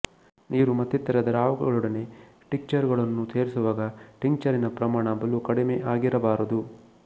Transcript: ನೀರು ಮತ್ತಿತರ ದ್ರಾವಕಗಳೊಡನೆ ಟಿಕ್ಚರುಗಳನ್ನು ಸೇರಿಸುವಾಗ ಟಿಂಕ್ಚರಿನ ಪ್ರಮಾಣ ಬಲು ಕಡಿಮೆ ಆಗಿರಬಾರದು